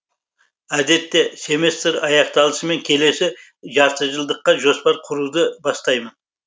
әдетте семестр аяқталысымен келесі жартыжылдыққа жоспар құруды бастаймын